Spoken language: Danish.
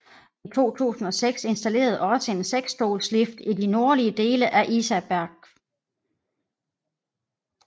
I 2006 installeredes også en seksstolslift i de nordlige dele af Isaberg